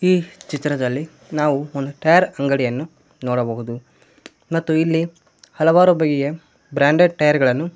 ಈ ಚಿತ್ರದಲ್ಲಿ ನಾವು ಒಂದು ಟೈಯರ್ ಅಂಗಡಿಯನ್ನು ನೋಡಬಹುದು ಮತ್ತು ಇಲ್ಲಿ ಹಲವಾರು ಬಗೆಯ ಬ್ರಾಂಡೆಡ್ ಟೈರ್ ಗಳನ್ನು.